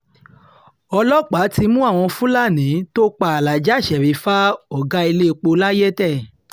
ọlọ́pàá ti mú àwọn fúlàní tó pa alaaja sherifa ọ̀gá iléepo layétẹ̀